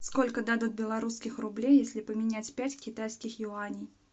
сколько дадут белорусских рублей если поменять пять китайских юаней